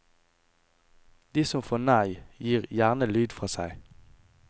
De som får nei, gir gjerne lyd fra seg.